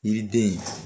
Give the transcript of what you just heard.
Yiriden